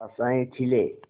आशाएं खिले